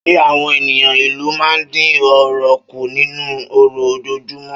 Ṣé àwọn ènìyàn ìlú máa ń dín ọ̀rọ̀ kù nínú ọ̀rọ̀ ojoojúmọ́?